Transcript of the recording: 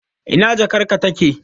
Ina jakarka take?